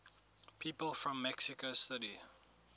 people from mexico city